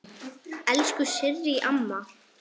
Elsku Sirrý amma.